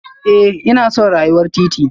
Eh ina son rayuwar titi